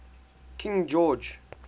king george